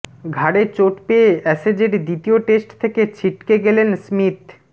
ঘাড়ে চোট পেয়ে অ্যাশেজের দ্বিতীয় টেস্ট থেকে ছিটকে গেলেন স্মিথ